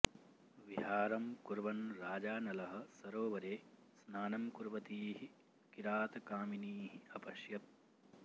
विहारं कुर्वन् राजा नलः सरोवरे स्नानं कुर्वतीः किरातकामिनीः अपश्यत्